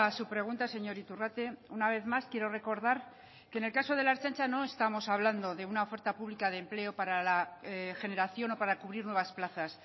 su pregunta señor iturrate una vez más quiero recordar que en el caso de la ertzaintza no estamos hablando de una oferta pública de empleo para la generación o para cubrir nuevas plazas